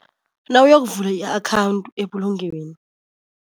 Nawuyokuvula i-akhawundi ebulungweni.